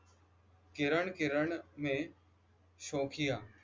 किरण किरण में शोखिया